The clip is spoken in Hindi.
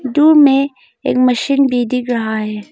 दूर में एक मशीन भी दिख रहा है।